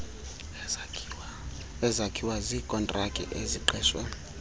ezakhiwa ziikontraki eziqeshwe